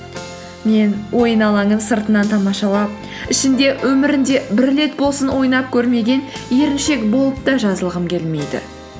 мен ойын алаңын сыртынан тамашалап ішінде өмірінде бір рет болсын ойнап көрмеген еріншек болып та жазылғым келмейді